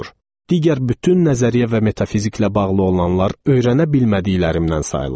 Digər bütün nəzəriyyə və metafiziklə bağlı olanlar öyrənə bilmədiklərimdən sayılır.